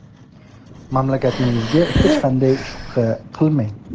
Mamlakatingizda hech qanday shubha qilmang.